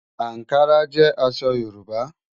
Ànkárà jẹ́ àṣọ̀ Yorùbá.